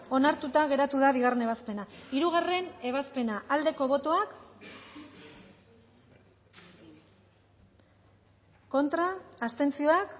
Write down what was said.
onartuta geratu da bigarren ebazpena hirugarrena ebazpena bozkatu dezakegu bozketaren emaitza onako